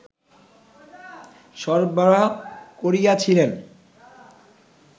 সরবরাহ করিয়াছিলেন